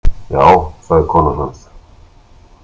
Já, sagði konan hans.